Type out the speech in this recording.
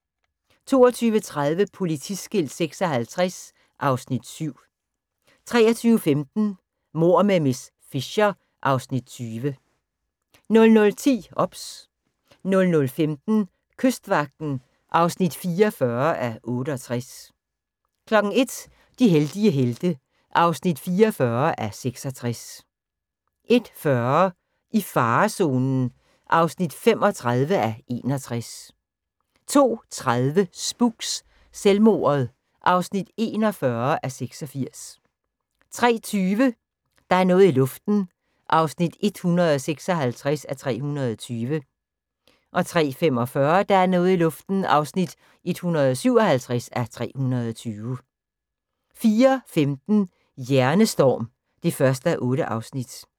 22:30: Politiskilt 56 (Afs. 7) 23:15: Mord med miss Fisher (Afs. 20) 00:10: OBS 00:15: Kystvagten (44:68) 01:00: De heldige helte (44:66) 01:40: I farezonen (35:61) 02:30: Spooks: Selvmordet (41:86) 03:20: Der er noget i luften (156:320) 03:45: Der er noget i luften (157:320) 04:15: Hjernestorm (1:8)